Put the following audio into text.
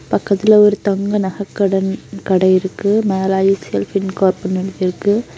பக்கத்துல ஒரு தங்க நகை கடன் கடை இருக்கு மேல ஐ_சி_எல் ஃபின்கார்ப் இருக்கு.